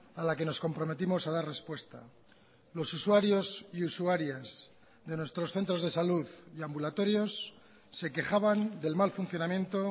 a la que nos comprometimos a dar respuesta los usuarios y usuarias de nuestros centros de salud y ambulatorios se quejaban del mal funcionamiento